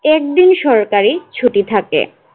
এর দিন সরকারী ছুটি থাকে।